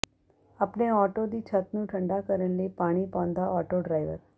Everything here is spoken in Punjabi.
ਆਪਣੇ ਆਟੋ ਦੀ ਛਤ ਨੂੰ ਠੰਡਾ ਕਰਨ ਲਈ ਪਾਣੀ ਪਾਉਂਦਾ ਆਟੋ ਡਰਾਈਵਰ